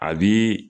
A bi